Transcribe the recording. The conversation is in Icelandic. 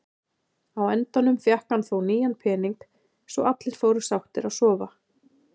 Á endanum fékk hann þó nýjan pening svo allir fóru sáttir að sofa.